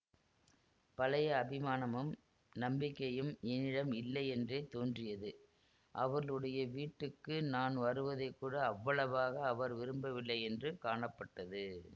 பழைய அபிமானமும் நம்பிக்கையும் என்னிடம் இல்லையென்றே தோன்றியது அவர்களுடைய வீட்டுக்கு நான் வருவதை கூட அவ்வளவாக அவர் விரும்பவில்லையென்று காணப்பட்டது